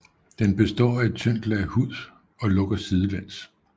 Den består af et tyndt lag hud og lukker sidelæns